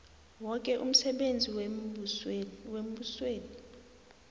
woke umsebenzi wembusweni